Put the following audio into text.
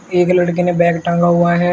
एक लड़के ने बैग टांगा हुआ है।